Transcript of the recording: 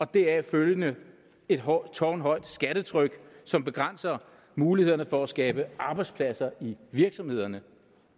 deraf følgende tårnhøjt skattetryk som begrænser mulighederne for at skabe arbejdspladser i virksomhederne